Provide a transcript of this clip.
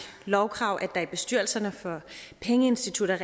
lovkrav at der i bestyrelserne for pengeinstitutter